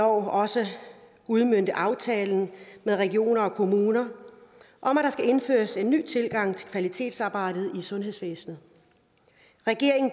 også udmønte aftalen med regionerne og kommunerne om at der skal indføres en ny tilgang til kvalitetsarbejdet i sundhedsvæsenet regeringen